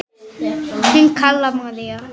Þín Kalla María.